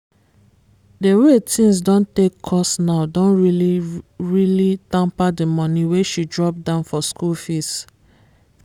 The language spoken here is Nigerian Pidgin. the way things don take cost now don really really tamper the money wey she drop down for school fees